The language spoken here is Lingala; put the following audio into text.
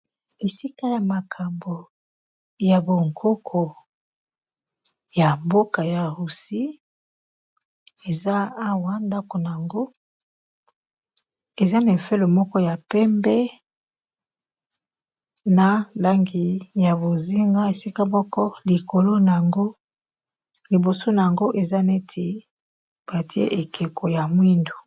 Esika ya makambo ya bonkoko ya mboka ya roussie eza awa ndako na ango eza na efele moko ya pembe na langi ya bozinga esika moko likolo na yango liboso na yango eza neti batie ekeko ya mwindu